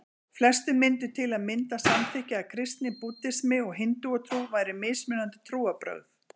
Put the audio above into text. Flestir myndu til að mynda samþykkja að kristni, búddismi og hindúatrú væru mismunandi trúarbrögð.